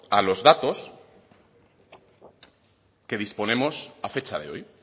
a los datos que disponemos a fecha de hoy